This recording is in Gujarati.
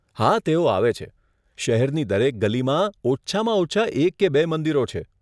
હા, તેઓ આવે છે. શહેરની દરેક ગલીમાં ઓછામાં ઓછા એક કે બે મંદિરો છે.